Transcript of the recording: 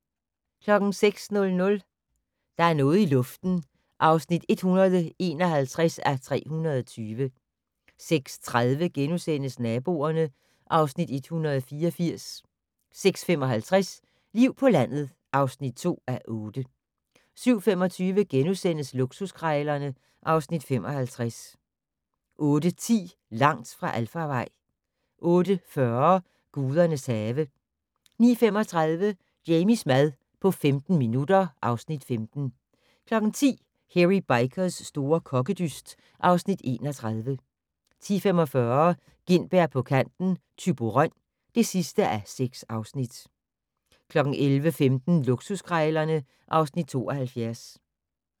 06:00: Der er noget i luften (151:320) 06:30: Naboerne (Afs. 184)* 06:55: Liv på landet (2:8) 07:25: Luksuskrejlerne (Afs. 55)* 08:10: Langt fra alfarvej 08:40: Gudernes have 09:35: Jamies mad på 15 minutter (Afs. 15) 10:00: Hairy Bikers' store kokkedyst (Afs. 31) 10:45: Gintberg på kanten - Thyborøn (6:6) 11:15: Luksuskrejlerne (Afs. 72)